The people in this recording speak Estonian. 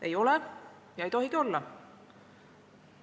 Ei ole ja ei tohigi olla!